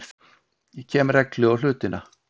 Kem reglu á hlutina.